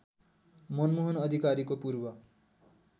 मनमोहन अधिकारीको पूर्व